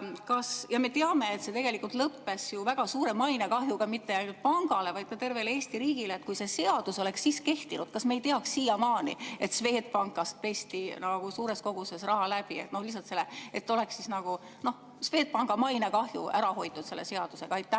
– me teame, et see tegelikult lõppes väga suure mainekahjuga mitte ainult pangale, vaid tervele Eesti riigile –, siis kui see seadus oleks kehtinud, kas me ei teaks siiamaani, et Swedbankis pesti suures koguses raha, lihtsalt oleks Swedbanki mainekahju ära hoitud selle seadusega?